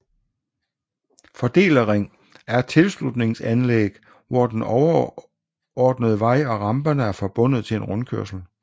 Fordelerring er et tilslutningsanlæg hvor den underordnede vej og ramperne er forbundet til en rundkørsel